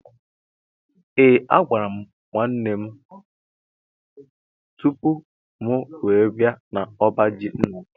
Ee a gwara mụ nwanne mụ tụpụ mụ wee bia na ọbá jị ńnà mụ